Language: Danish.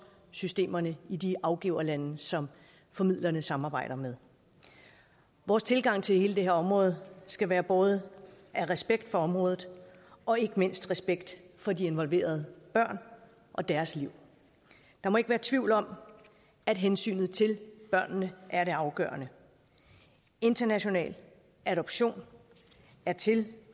systemerne i de afgiverlande som formidlerne samarbejder med vores tilgang til hele det her område skal være båret af respekt for området og ikke mindst af respekt for de involverede børn og deres liv der må ikke være tvivl om at hensynet til børnene er det afgørende international adoption er til